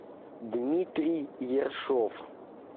дмитрий ершов